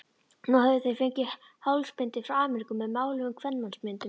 Nú höfðu þeir fengið hálsbindi frá Ameríku með máluðum kvenmannsmyndum.